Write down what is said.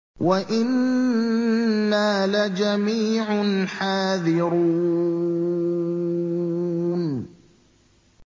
وَإِنَّا لَجَمِيعٌ حَاذِرُونَ